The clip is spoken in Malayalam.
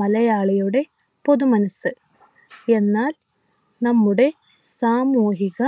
മലയാളിയുടെ പൊതു മനസ്സ് എന്നാൽ നമ്മുടെ സാമൂഹിക